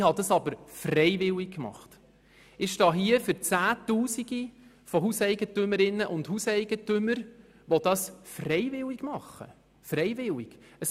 Das habe ich freiwillig gemacht, und damit stehe für Zehntausende von Hauseigentümerinnen und Hauseigentümern hier, die es ebenfalls freiwillig tun.